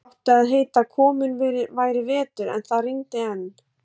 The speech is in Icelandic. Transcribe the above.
Það átti að heita að kominn væri vetur, en það rigndi enn.